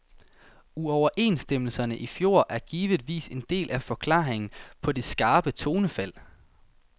Uoverenstemmelserne i fjor er givetvis en del af forklaringen på det skarpe tonefald.